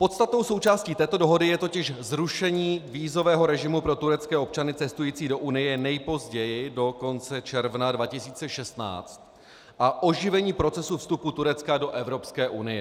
Podstatnou součástí této dohody je totiž zrušení vízového režimu pro turecké občany cestující do Unie nejpozději do konce června 2016 a oživení procesu vstupu Turecka do Evropské unie.